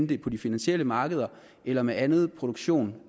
det er på de finansielle markeder eller med anden produktion